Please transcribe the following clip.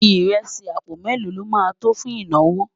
írèsì àpò mélò ló má tó fún ìnáwó?